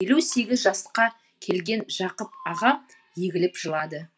елу сегіз жасқа келген жақып ағам егіліп жылады